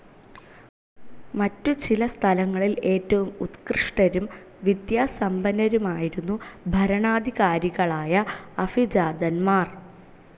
മറ്റു ചില സ്ഥലങ്ങളിൽ ഏറ്റവും ഉത്കൃഷ്ടരും വിദ്യാസമ്പന്നരുമായിരുന്നു ഭരണാധികാരികളായ അഭിജാതൻമാർ.